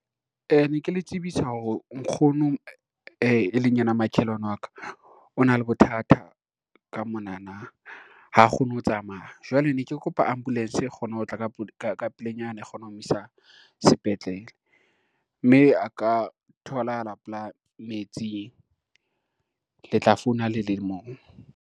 Ne ke le tsebisa hore nkgono e leng yena makhelwane wa ka o na le bothata ka monana, ha kgone ho tsamaya jwale ne ke kopa ambulance e kgone ho tla ka pelenyana, e kgona ho mo isa sepetlele mme a ka tholahala pelaa metsing, le tla founa ha le le moo.